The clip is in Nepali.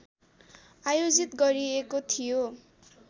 आयोजित गरिएको थियो